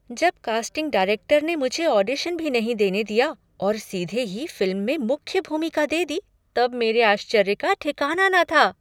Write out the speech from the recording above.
जब casting director ने मुझे ऑडिशन भी नहीं देने दिया और सीधे ही फ़िल्म में मुख्य भूमिका दे दी तब मेरे आश्चर्य का ठिकाना न था।